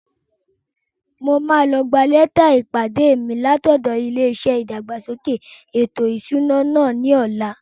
Mo máa lọ gbà lẹ́tà ìpàdé mi látọ̀dọ̀ ilé-iṣẹ́ ìdàgbàsókè ètò ìṣúná náà ní ọ̀la